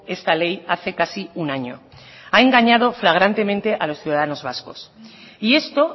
esta ley hace casi un año ha engañado flagrantemente a los ciudadanos vascos y esto